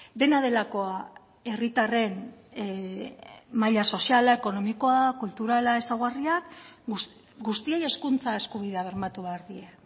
dena delakoa herritarren maila soziala ekonomikoa kulturala ezaugarriak guztiei hezkuntza eskubidea bermatu behar die